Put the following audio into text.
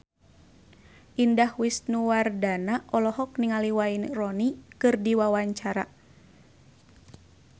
Indah Wisnuwardana olohok ningali Wayne Rooney keur diwawancara